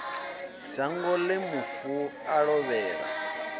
shango ḽe mufu a lovhela